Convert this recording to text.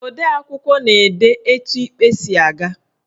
Odeakwụkwọ na-ede etu ikpe si aga.